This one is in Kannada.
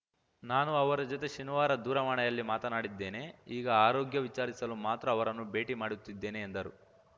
ನಾನು ಅವರ ಜತೆ ಶನಿವಾರ ದೂರವಾಣಿಯಲ್ಲಿ ಮಾತನಾಡಿದ್ದೇನೆ ಈಗ ಆರೋಗ್ಯ ವಿಚಾರಿಸಲು ಮಾತ್ರ ಅವರನ್ನು ಭೇಟಿ ಮಾಡುತ್ತಿದ್ದೇನೆ ಎಂದರು